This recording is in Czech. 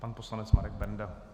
Pan poslanec Marek Benda.